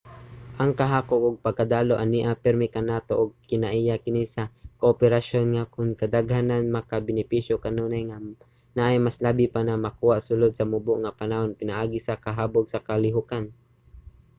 ang kahakog ug pagkadalo ania pirmi kanato ug kinaiya kini sa kooperasyon nga kun kadaghanan makabenepisyo kanunay nga naay mas labi pa na makuha sulod sa mubo nga panahon pinaagi sa kahabog na kalihukan